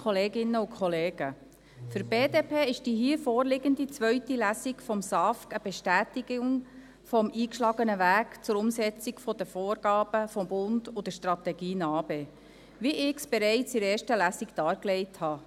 Für die BDP ist die hier vorliegende zweite Lesung des SAFG eine Bestätigung des eingeschlagenen Wegs zur Umsetzung der Vorgaben des Bundes und der Strategie NA-BE, wie ich bereits in der ersten Lesung dargelegt habe.